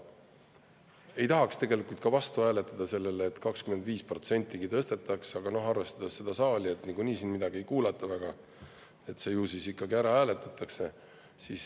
Ei tahaks tegelikult ka vastu hääletada sellele, et 25% tõstetakse, aga arvestades seda saali, kus nagunii midagi väga ei kuulata, siis ju see siin ikkagi ära hääletatakse.